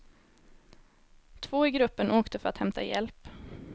Två i gruppen åkte för att hämta hjälp.